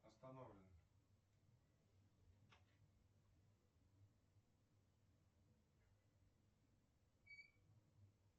остановлено